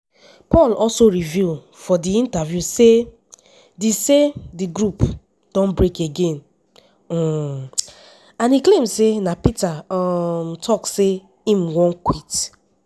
paul also reveal for di interview say di say di group don break again um and e claim say na peter um tok say im wan quit.